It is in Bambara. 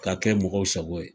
K'a kɛ mɔgɔw sago ye